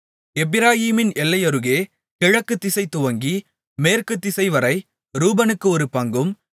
எப்பிராயீமின் எல்லையருகே கிழக்கு திசை துவங்கி மேற்கு திசைவரை ரூபனுக்கு ஒரு பங்கும்